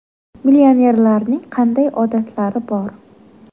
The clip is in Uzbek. Millionerlarning qanday odatlari bor?.